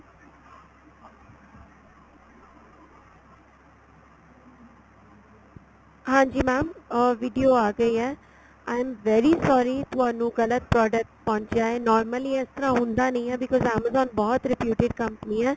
ਹਾਂਜੀ mam ਅਹ video ਆ ਗਈ ਏ I am very sorry ਤੁਹਾਨੂੰ ਗਲਤ ਤੁਹਾਡਾ ਪਹੁੰਚਿਆ ਏ normally ਇਸ ਤਰ੍ਹਾਂ ਹੁੰਦਾ ਨਹੀਂ ਏ because amazon ਬਹੁਤ reputed company ਏ